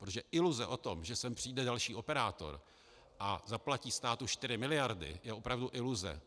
Protože iluze o tom, že sem přijde další operátor a zaplatí státu 4 miliardy, je opravdu iluze.